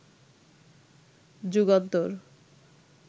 Jugantor